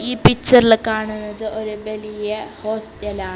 ഈ പിക്ചറിൽ കാണുന്നത് ഒരു ബലിയ ഹോസ്റ്റലാ .